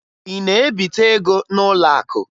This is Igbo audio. Ị na-ebite ego n'ụlọakụ?